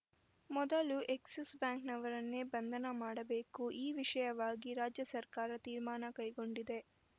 ಮೊದಲು ಎಕ್ಸಿಸ್‌ ಬ್ಯಾಂಕ್‌ನವರನ್ನೇ ಬಂಧನ ಮಾಡಬೇಕು ಈ ವಿಷಯವಾಗಿ ರಾಜ್ಯ ಸರ್ಕಾರ ತೀರ್ಮಾನ ಕೈಗೊಂಡಿದೆ